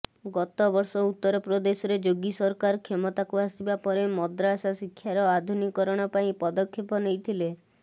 ଗତ ବର୍ଷ ଉତ୍ତରପ୍ରଦେଶରେ ଯୋଗୀ ସରକାର କ୍ଷମତାକୁ ଆସିବା ପରେ ମଦ୍ରାସା ଶିକ୍ଷାର ଆଧୁନିକୀକରଣ ପାଇଁ ପଦକ୍ଷେପ ନେଇଥିଲେ